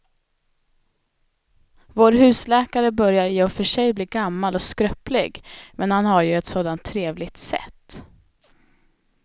Vår husläkare börjar i och för sig bli gammal och skröplig, men han har ju ett sådant trevligt sätt!